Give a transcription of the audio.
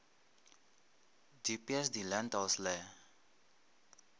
di peas di lentils le